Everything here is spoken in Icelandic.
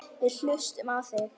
Við hlustum á þig.